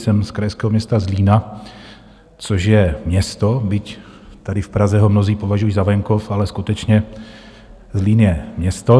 Jsem z krajského města Zlína, což je město, byť tady v Praze ho mnozí považují za venkov, ale skutečně Zlín je město.